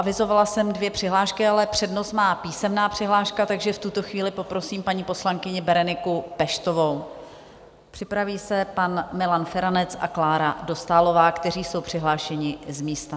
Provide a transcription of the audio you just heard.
Avizovala jsem dvě přihlášky, ale přednost má písemná přihláška, takže v tuto chvíli poprosím paní poslankyni Bereniku Peštovou, připraví se pan Milan Feranec a Klára Dostálová, kteří jsou přihlášeni z místa.